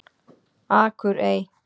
Akurey